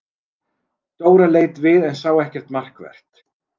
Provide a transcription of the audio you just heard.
Dóra leit við en sá ekkert markvert.